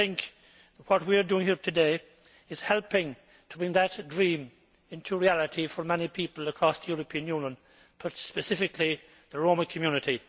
And I think what we are doing here today is helping to bring that dream into reality for many people across the European Union, but specifically the Roma community.